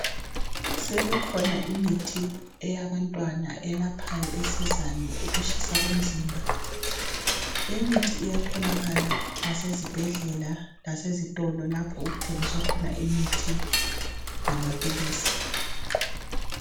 Sekukhona imithi eyabantwana elaphayo esizayo ukutshisa komzimba. Le mithi iyatholakala ngasezibhedlela lasezitolo lapho okuthengiswa khona imithi lamaphilisi.